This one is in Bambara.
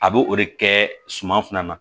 A b'o de kɛ suman fana na